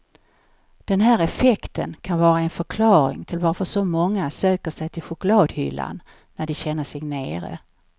Den här effekten kan vara en förklaring till varför så många söker sig till chokladhyllan när de känner sig nere.